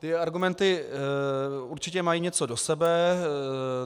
Ty argumenty určitě mají něco do sebe.